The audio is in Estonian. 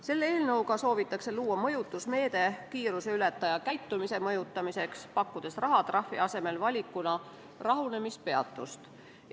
Selle eelnõuga soovitakse luua mõjutusmeede kiiruseületaja käitumise mõjutamiseks, pakkudes rahatrahvi asemel valikuna rahunemispeatust.